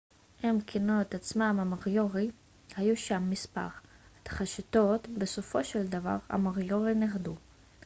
הם כינו את עצמם המוריורי moriori. היו שם מספר התכתשויות ובסופו של דבר המוריורי נכחדו